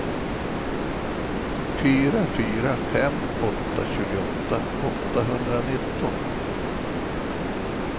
fyra fyra fem åtta tjugoåtta åttahundranitton